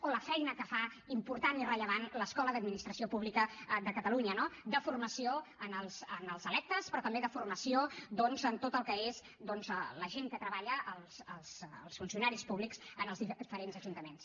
o la feina que fa important i rellevant l’escola d’administració pública de catalunya no de formació als electes però també de formació doncs en tot el que és la gent que treballa els funcionaris públics en els diferents ajuntaments